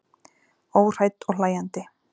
Óhrædd og hlæjandi.